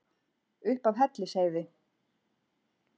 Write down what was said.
upp af hellisheiði